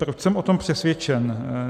Proč jsem o tom přesvědčen?